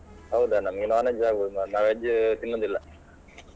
ಹೌದ ನಮ್ಗೆ non-veg ಆಗ್ಬೋದು ನಾ veg ತಿನ್ನುದಿಲ್ಲ.